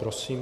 Prosím.